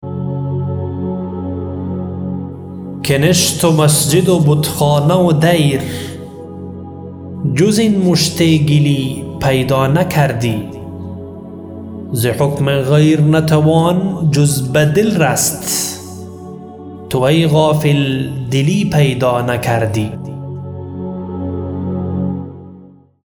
کنشت و مسجد و بتخانه و دیر جز این مشت گلی پیدا نکردی ز حکم غیر نتوان جز بدل رست تو ای غافل دلی پیدا نکردی